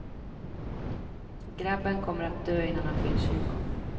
Grabben kommer att dö innan han fyller tjugo.